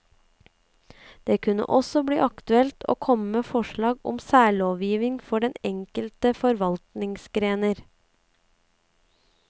Det kunne også bli aktuelt å komme med forslag om særlovgivning for enkelte forvaltningsgrener.